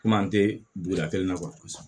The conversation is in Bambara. Komi an tɛ duguda kelen na kuwa